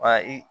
Wa i